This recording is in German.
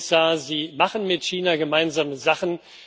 Herr Kommissar, Sie machen mit China gemeinsame Sachen.